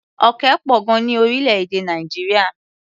Òkè pọ̀ gan-an ní orílẹ̀-èdè Nàìjíríà.